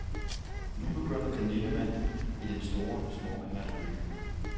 Nu begynder den lille mand i den sorte smoking at synge